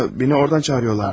Məni ordan çağırırlar.